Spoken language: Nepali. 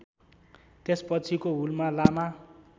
त्यसपछिको हुलमा लामा